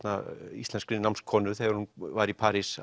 íslenskri þegar hún var í París